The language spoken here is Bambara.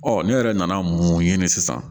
Ɔ ne yɛrɛ nana mun ɲini sisan